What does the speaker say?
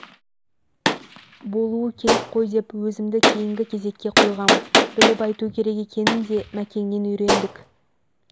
болуы керек қой деп өзімді кейінгі кезекке қойғам біліп айту керек екенін де мәкеңнен үйрендік